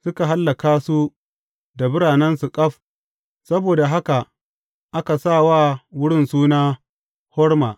Suka hallaka su da biranensu ƙaf; saboda haka aka sa wa wurin suna Horma.